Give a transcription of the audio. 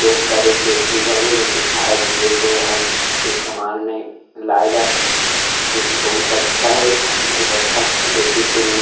लोग करे के चीज हरे जो कि खायेक पीयेके हर चीज के इस्तेमाल में लाये जाथे जो कि बहुत ही अच्छा हे बहुत ही अच्छा क्वॉलिटी के मिलथे।